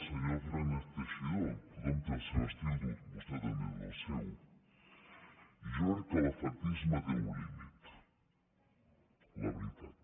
senyor fernández teixidó tothom té el seu estil dur vostè també té el seu i jo crec que l’efectisme té un límit la veritat